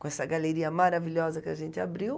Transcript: Com essa galeria maravilhosa que a gente abriu.